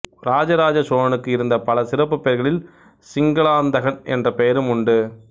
ராஜராஜசோழனுக்கு இருந்த பல சிறப்புப் பெயர்களில் சிங்களாந்தகன் என்ற பெயரும் ஒன்று